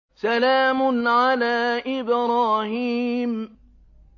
سَلَامٌ عَلَىٰ إِبْرَاهِيمَ